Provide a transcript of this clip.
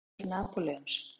Hattur Napóleons?